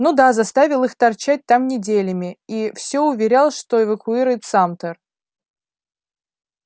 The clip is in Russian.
ну да заставил их торчать там неделями и всё уверял что эвакуирует самтер